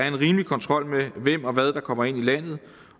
en rimelig kontrol med hvem og hvad der kommer ind i landet